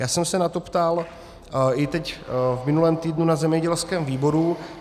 Já jsem se na to ptal i teď v minulém týdnu na zemědělském výboru.